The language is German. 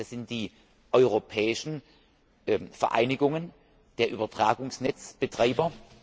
Das sind die europäischen Vereinigungen der Übertragungsnetzbetreiber.